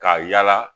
Ka yala